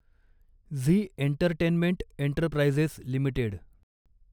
Zee entertainment enterprises limited